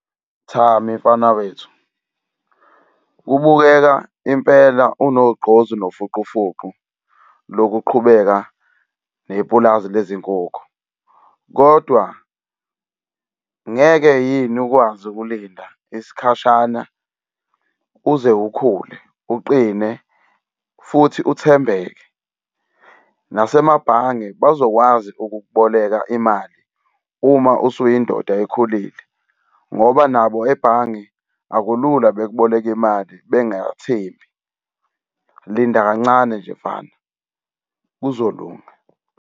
Thami mfana wethu, kubukeka impela unogqozu nofuqufuqu lokuqhubeka nepulazi lezinkukhu. Kodwa ngeke yini ukwazi ukulinda isikhashana, uze ukhule, uqine futhi uthembeke? Nasemabhange bazokwazi ukukuboleka imali uma usuyindoda ekhulile ngoba nabo ebhange akulula bekuboleke imali bengakuthembi. Linda kancane nje mfana, kuzolunga.